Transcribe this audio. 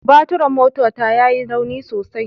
Baturin motata ya yi rauni sosai